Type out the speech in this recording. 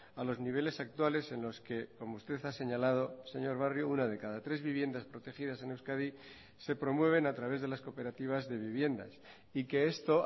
a los niveles actuales en los que como usted ha señalado señor barrio una de cada tres viviendas protegidas en euskadi se promueven a través de las cooperativas de viviendas y que esto